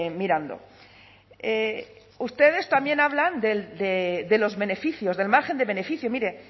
mirando ustedes también hablan de los beneficios del margen de beneficio mire